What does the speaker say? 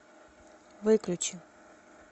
выключи